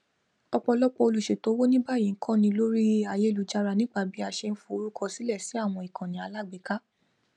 ọpọlọpọ olùṣètò owó ní báyìí ń kọni lórí ayélujára nípa bí a ṣe ń forúkọsílẹ sí àwọn ikanni alágbèéká